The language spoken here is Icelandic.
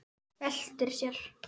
Veltir sér.